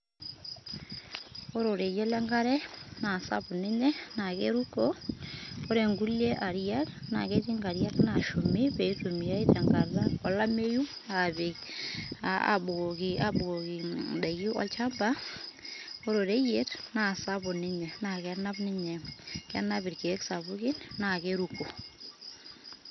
Ore oreyiet lenkare na sapuk ninye ,na keruko ore inkulie ariak, na ketii inkariak nashumi petumiyai tenkata olameyu, apik abukoki abukoki indaiki olchamba, ore oreyiet, na sapuk ninye, na kenap ilkek sapukin, na keruko,